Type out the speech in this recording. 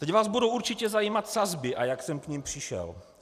Teď vás budou určitě zajímat sazby, a jak jsem k nim přišel.